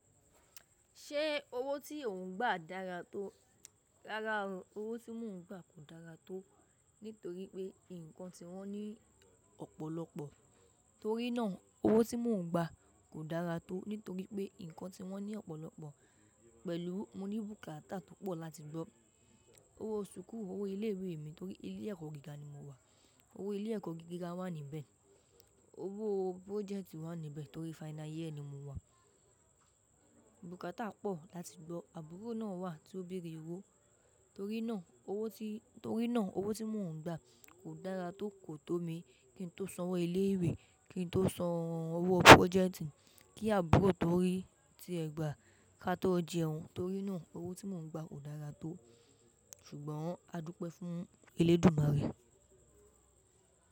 Ṣé owó tí ò ń gbà dára tó? Rárá o, owó tí mò ń gbà kò dára tó, nítorí pé nǹkan tí wọ́n ní ọ̀pọ̀lọpọ̀. Torí náà owó tí mò ń gbà kò dára tó, nítorí pé nǹkan tí wọ́n ní ọ̀pọ̀lọpọ̀ pẹ̀lú mo ní bùkátà tó pọ̀ láti gbọ́. Owó súkù, owó ilé ìwé mi torí ilé ẹ̀kọ́ gíga ni mo wà. Owó ilé ẹ̀kọ́ gíga wà níbẹ̀. Owó project wà níbẹ̀ torí final year ni mo wà. Bùkátà pọ̀ láti gbọ́. Àbúrò náà wà tí ó béèrè owó, torí náà owó tí mò ń gba kò dára tó kò to mi kí n tó san owó ilé ìwé, kí n tó san owó project kí àbúrò tó rí tí ẹgbàá ká a tó jẹun. Torí náà owó tí mò ń gba kò dára tó ṣùgbọ́n a dúpẹ́ fún Elédùmarè.